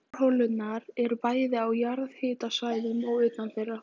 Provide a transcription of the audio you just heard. Borholurnar eru bæði á jarðhitasvæðum og utan þeirra.